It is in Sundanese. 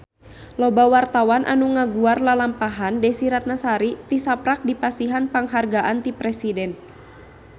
Loba wartawan anu ngaguar lalampahan Desy Ratnasari tisaprak dipasihan panghargaan ti Presiden